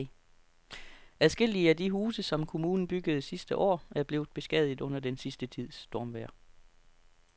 Adskillige af de huse, som kommunen byggede sidste år, er blevet beskadiget under den sidste tids stormvejr.